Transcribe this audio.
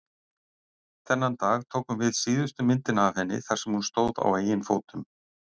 Þennan dag tókum við síðustu myndina af henni þar sem hún stóð á eigin fótum.